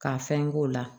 Ka fɛn k'o la